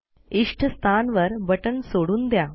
इष्ट स्थानवर बटण सोडून द्या